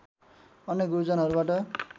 अन्य गुरुजनहरूबाट